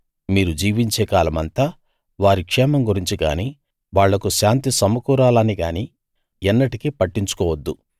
మీరు జీవించే కాలమంతా వారి క్షేమం గురించి గానీ వాళ్లకు శాంతి సమకూరాలని గానీ ఎన్నటికీ పట్టించుకోవద్దు